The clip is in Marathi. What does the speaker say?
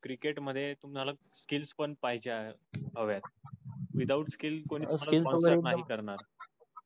क्रिकेट मधे तुम्हाला skills पण पाहिजे हवेत. without skills कोणी तुम्हाला sponsor नाही करणार.